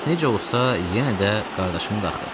Necə olsa yenə də qardaşımdı axı.